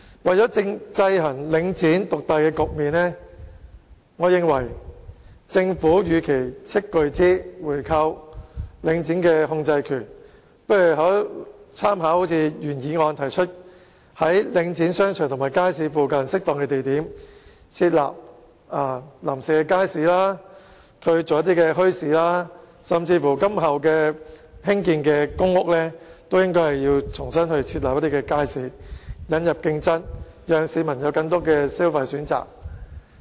為了制衡領展獨大的局面，我認為政府與其斥巨資購回領展的控制權，不如參考原議案所提出的建議，在領展商場及街市附近適當的地點設立臨時街市，或舉辦墟市，甚至在今後興建的公屋項目中都應該設立街市，引入競爭，讓市民有更多的消費選擇。